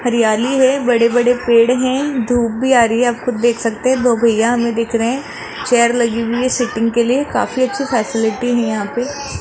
हरियाली है बड़े बड़े पेड़ है धूप भी आ रही है आपको देख सकते हैं दो भैया हमें दिख रहे चेयर लगी हुई है सीटिंग के लिए काफी अच्छे फैसिलिटी है यहां पे --